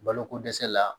Baloko dɛsɛ la